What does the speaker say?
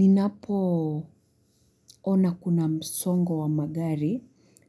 Ninapo ona kuna msongo wa magari,